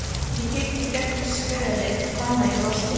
Ég kíkti gegnum slörið og fann að ég brosti.